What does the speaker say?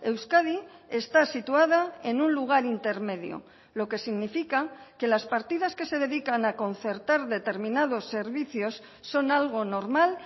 euskadi está situada en un lugar intermedio lo que significa que las partidas que se dedican a concertar determinados servicios son algo normal